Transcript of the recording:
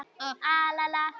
Þú ert best.